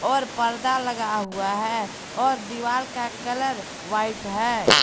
और पर्दा लगा हुआ है और दीवार का कलर व्हाइट है।